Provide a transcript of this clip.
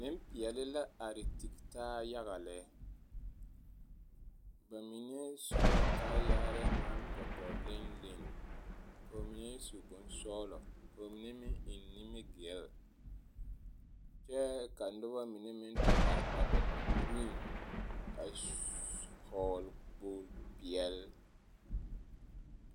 Nempeɛle la are tigi taa yaga lɛ, ba mine su la kaayare naŋ tɔtɔ leni leni k'o mine su bonsɔgelɔ k'o mine meŋ eŋ nimi-gil kyɛ ka noba mine meŋ te are a ba puoriŋ a hɔɔle kpogili peɛle.